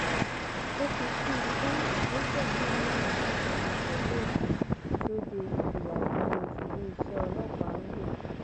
ó fi kún un pé ìgbésẹ náà wà ní ìbámu pẹlú òfin tó de ìfìyàjẹni tiléeṣẹ ọlọpàá ń lò